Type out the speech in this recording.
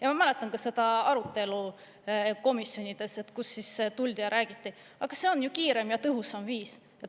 Ja ma mäletan ka seda arutelu komisjonides, kus siis tuldi ja räägiti: aga see on ju kiirem ja tõhusam viis.